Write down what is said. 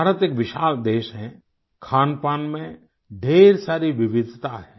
भारत एक विशाल देश है खानपान में ढेर सारी विविधता है